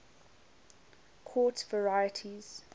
quartz varieties